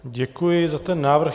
Děkuji za ten návrh.